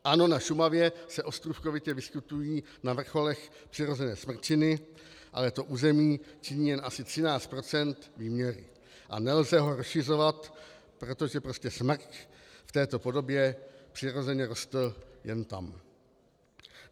Ano, na Šumavě se ostrůvkovitě vyskytují na vrcholech přirozené smrčiny, ale to území činí jen asi 13 % výměry a nelze ho rozšiřovat, protože prostě smrk v této podobě přirozeně rostl jen tam.